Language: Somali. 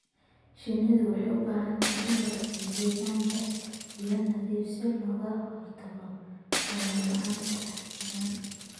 Shinnidu waxay u baahan tahay in la siiyo deegaan leh biyo nadiif ah si looga hortago qoyaan la'aanta finan.